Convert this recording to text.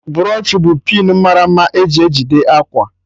Broochu bụ pịn mara mma e ji ejide akwa